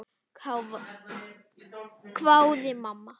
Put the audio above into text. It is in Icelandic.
hváði mamma.